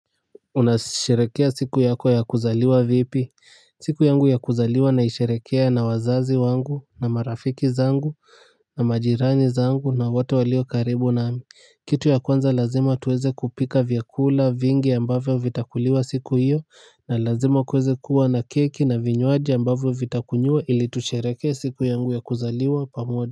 Unasherekea siku yako ya kuzaliwa vipi. Siku yangu ya kuzaliwa naishirekea na wazazi wangu na marafiki zangu na majirani zangu na watu walio karibu nami. Kitu ya kwanza lazima tuweze kupika vyakula vingi ambavyo vitakuliwa siku hiyo na lazima kuweze kuwa na keki na vinyoaji ambavyo vitakunyua ili tushirekea siku yangu ya kuzaliwa pamoja.